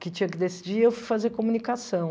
que tinha que decidir, eu fui fazer comunicação.